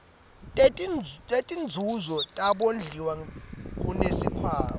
setinzuzo tebondliwa kusikhwama